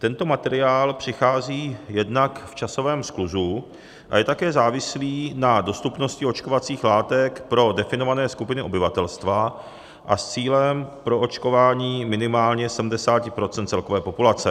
Tento materiál přichází jednak v časovém skluzu a je také závislý na dostupnosti očkovacích látek pro definované skupiny obyvatelstva a s cílem proočkování minimálně 70 % celkové populace.